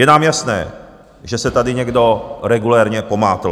Je nám jasné, že se tady někdo regulérně pomátl.